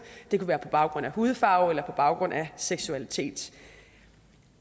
det kunne være på baggrund af hudfarve eller på baggrund af seksualitet